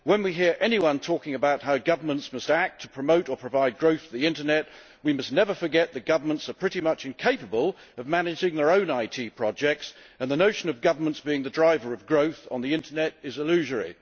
When we hear anyone talking about how governments must act to promote or provide growth for the internet, we must never forget that governments are pretty much incapable of managing their own IT projects, and the notion of the governments being the driver of growth on the internet is illusory.